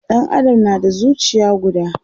Ɗan Adam na da zucia guda